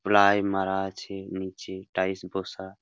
Ply মারা আছে নিচে টাইলস বসা।